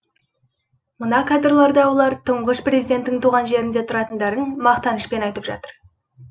мына кадрларда олар тұңғыш президенттің туған жерінде тұратындарын мақтанышпен айтып жатыр